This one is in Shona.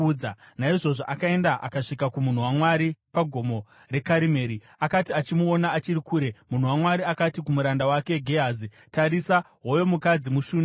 Naizvozvo akaenda akasvika kumunhu waMwari paGomo reKarimeri. Akati achimuona achiri kure, munhu waMwari akati kumuranda wake Gehazi, “Tarisa! Hoyo mukadzi muShunami!